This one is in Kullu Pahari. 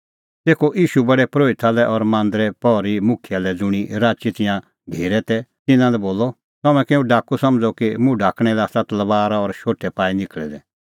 तेखअ ईशू प्रधान परोहिता लै और मांदरे पहरी मुखियै लै ज़ुंणी राची तिंयां घेरै तै तिन्नां लै बोलअ तम्हैं कै हुंह डाकू समझ़अ कि मुंह ढाकदै आसा तलबारा और शोठै पाई निखल़ै दै